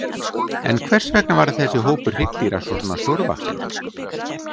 En hvers vegna varð þessi hópur hryggdýra svona stórvaxinn?